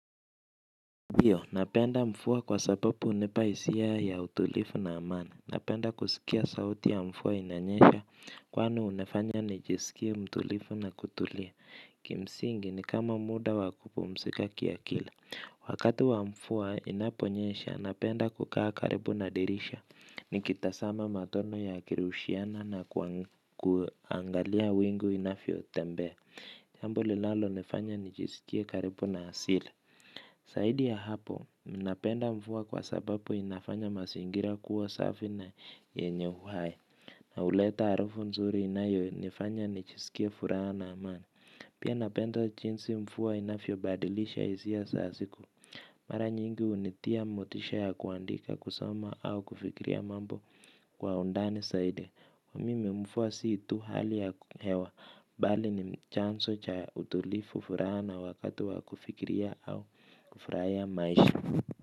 Ndiyo, napenda mfua kwa sapapu hunipa hisia ya utulifu na amani. Napenda kusikia sauti ya mfua inanyesha, kwani hunifanya nijisikie mtulifu na kutulia. Kimsingi ni kama muda wa kupumsika kiakili. Wakati wa mfua inaponyesha, napenda kukaa karibu na dirisha. Nikitasama matone yakirushiana na kuangalia wingu inafyotembea. Jambo linalonifanya nijiskie karibu na asili. Saidi ya hapo, ninapenda mfua kwa sabapu inafanya masingira kuwa safi na yenye uhai. Na huleta harufu nzuri inayonifanya nichisikie furaha na amani. Pia napenda chinsi mfua inafyobadilisha hisia za siku. Mara nyingi hunitia motisha ya kuandika kusoma au kufikria mambo kwa undani saidi. Mimi mfua si tu hali ya hewa bali ni chanso cha utulifu furaha na wakati wa kufikiria au kufraia maisha.